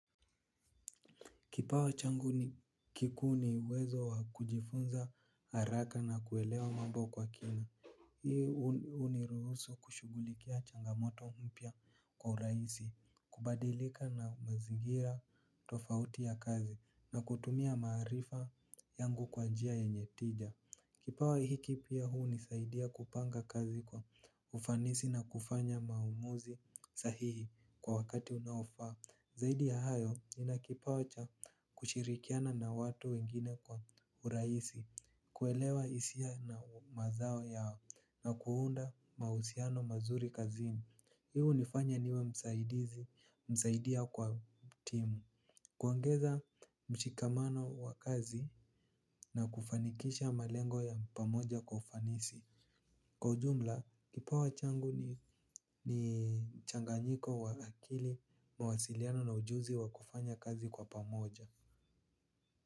Kipawa changu ni kikuu ni uwezo wa kujifunza haraka na kuelewa mambo kwa kina. Hii huniruhusu kushughulikia changamoto mpya kwa rahisi, kubadilika na mazingira tofauti ya kazi na kutumia maarifa yangu kwa njia yenye tija. Kipawa hiki pia hunisaidia kupanga kazi kwa ufanisi na kufanya maumuzi sahihi kwa wakati unaofaa. Zaidi ya hayo, nina kipawa cha kushirikiana na watu wengine kwa urahisi. Kuelewa hisia na mazao yao na kuunda mahusiano mazuri kazini. Hii hunifanya niwe msaidizi kwa timu. Kuongeza mshikamano wa kazi na kufanikisha malengo ya pamoja ufanisi. Kwa ujumla, kipawa changu ni mchanganyiko wa akili, mwasiliano na ujuzi wa kufanya kazi kwa pamoja.